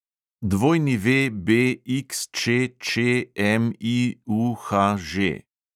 WBXČČMIUHŽ